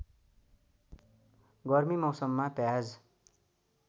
गर्मी मौसममा प्याज